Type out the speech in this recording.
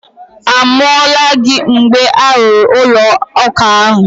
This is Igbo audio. A mụọla gị mgbe a rụrụ ụlọụka ahụ?